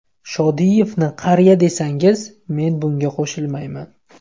Shodiyevni qariya desangiz, men bunga qo‘shilmayman.